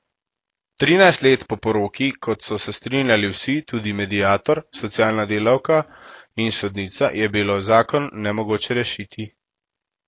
Trinajst let po poroki, kot so se strinjali vsi, tudi mediator, socialna delavka in sodnica, je bilo zakon nemogoče rešiti.